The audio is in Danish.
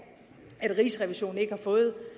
at rigsrevisionen ikke har fået